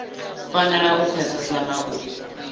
fanela u pfesesa na u